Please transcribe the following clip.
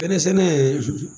Bɛnɛ sɛnɛ